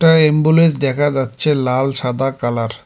একটা অ্যাম্বুলেন্স দেখা যাচ্ছে লাল সাদা কালার ।